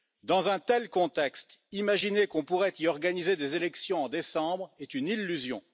Dans un tel contexte, imaginer qu'on pourrait y organiser des élections en décembre est une illusion.